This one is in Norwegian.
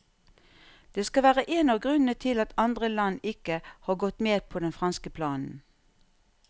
Det skal være en av grunnene til at andre land ikke har gått med på den franske planen.